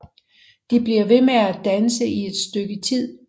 De bliver ved med at danse i et stykke tid